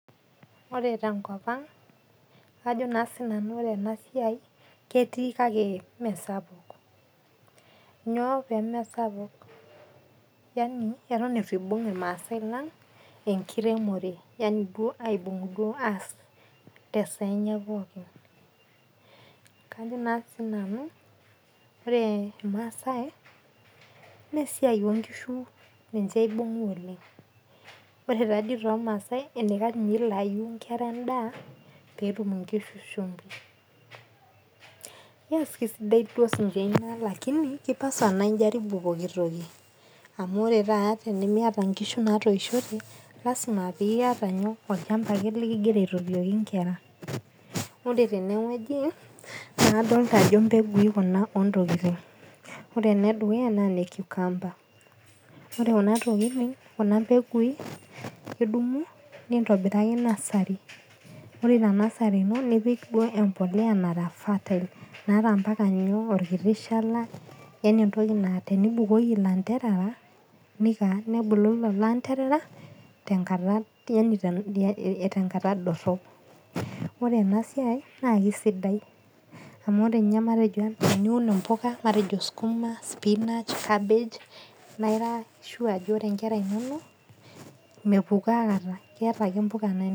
Ore tenkop aang', ajo naa siinanu ore ena siai ketii kake Mee sapuk. Nyoo pemee sapuk? Ewuen eitu eibung' ilmaasai lang enkiremore, Yani duao aibung' aas te esaa enye pookin. Kajo naa siinanu, ore ilmaasai naa esiai oo nkishu ninche eibung'a oleng'. Ore taadei toolmaasai eneikash ninye nelayu inkera endaa pee etum inkishu shumbi . Keisidai sii duo sininye Ina lakini eipasa naa injaribu pooki toki. Amu ore taata tenimiata inkishu natooishote, lasima pee iata olchamba leking'ira aitotioki inkera. Ore tene wueji nadolita ajo impekuni Kuna o ntokitin. Ore ena e dukuya naa ene cucumber, ore Kuna tokitin, Kuna mbegui idumu nintobiraki nursery. Ore Ina nursery ino nipik duo embolea nara fertile naata naata ompaka olkiti shala, yaani entoki naa tenibukoki ilaanterera, nebulu lelo anterera, tenkata dorop. Ore ena siai naake sidai amu matejo ninye ana teniun impoka matejo anaa sukuma, spinach, cabbage naa ira sure ajo ore inkera inono mepukoo aikata, keata ake impuka nainos.